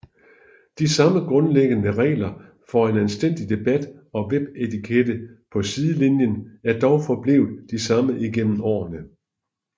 De samme grundlæggende regler for en anstændig debat og webetikette på Sidelinien er dog forblevet de samme igennem årene